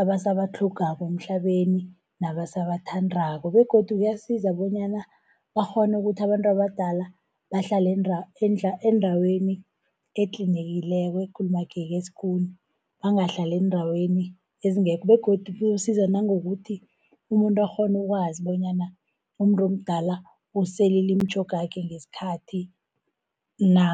abasabatlhogako emhlabeni nabasabathandako. Begodu kuyasiza bonyana bakghone ukuthi abantu abadala bahlale endaweni etlinekileko, ekulumageke skoon, bangahlali eendaweni ezingekho, begodu kuyosiza nangokuthi umuntu akghone ukwazi bonyana umuntu omdala uselile imitjhogakhe ngesikhathi na,